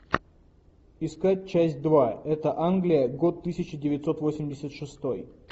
искать часть два это англия год тысяча девятьсот восемьдесят шестой